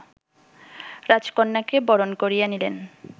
রাজকন্যাকে বরণ করিয়া নিলেন